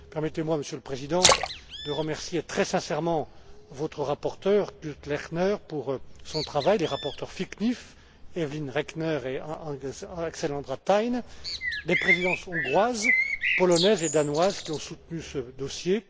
Permettez moi, Monsieur le Président, de remercier très sincèrement votre rapporteur, Kurt Lechner, pour son travail, les rapporteurs fictifs Evelyn Regner et Alexandra Thein ainsi que les Présidences hongroise, polonaise et danoise, qui ont soutenu ce dossier.